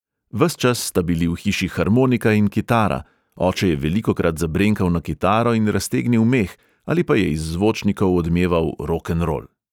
Ves čas sta bili v hiši harmonika in kitara, oče je velikokrat zabrenkal na kitaro in raztegnil meh ali pa je iz zvočnikov odmeval rokenrol.